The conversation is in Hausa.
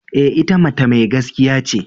E,ita mata mai gaskiya ce.